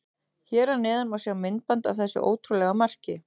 Hér að neðan má sjá myndband af þessu ótrúlega marki.